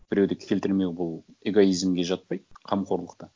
біреуді келтірмеу бұл эгоизмге жатпайды қамқорлықтан